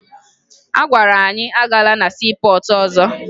A gwara anyị agala na siipọọtụ ọzọ